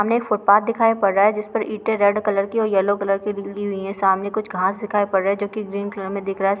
सामने एक फूटपाथ दिखाई पड़ रहा हैजिस पर ईंटे रेड कलर के और येलो कलर की बिछी हुई हैं। सामने कुछ घास दिखाई पड़ रहा है जोकी ग्रीन कलर में दिख रहा है।